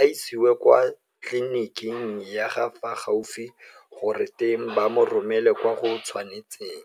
a isiwe kwa tleliniking ya fa gaufi gore teng ba mo romele kwa go tshwanetseng,